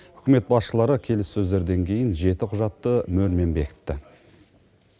үкімет басшылары келіссөздерден кейін жеті құжатты мөрмен бекітті